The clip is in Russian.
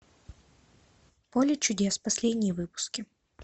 поле чудес последние выпуски